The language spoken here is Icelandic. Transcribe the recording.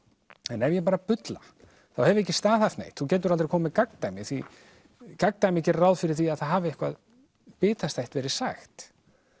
en ef ég bara bulla þá hef ég ekki staðhæft neitt þú getur aldrei komið með gagndæmi því gerir ráð fyrir því að það hafi eitthvað bitastætt verið sagt